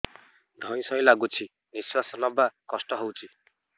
ଧଇଁ ସଇଁ ଲାଗୁଛି ନିଃଶ୍ୱାସ ନବା କଷ୍ଟ ହଉଚି